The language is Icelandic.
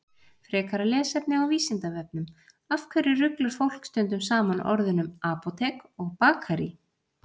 Frekara lesefni á Vísindavefnum: Af hverju ruglar fólk stundum saman orðunum apótek og bakarí?